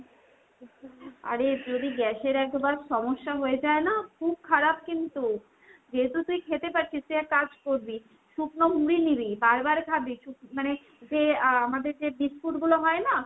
আরে যদি gas এর একবার সমস্যা হয়ে যায় না, খুব খারাপ কিন্তু। যেহেতু তুই খেতে পারছিস তুই এক কাজ করবি। শুকনো মুড়ি নিবি বার বার খাবি। মানে যে আ আমাদের যে biscuit গুলো হয় না